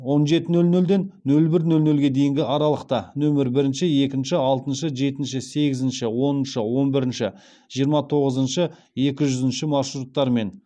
он жеті нөл нөлден нөл бір нөл нөлге дейінгі аралықта нөмір бірінші екінші алтыншы жетінші сегізінші оныншы он бірінші жиырма тоғызыншы екі жүзінші маршруттарымен